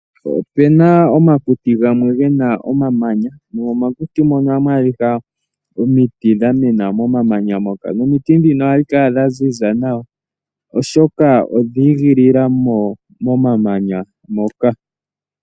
Opuna omakuti gamwe gena omamanya, nomomakuti mono ohamu adhika omiti dha mena mo mamanya moka, nomiti ndhino ohadhi kala dha ziza nawa, oshoka odha igilila mo momamanya moka.